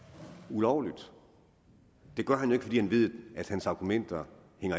ulovligt det gør han jo ikke fordi han ved at hans argumenter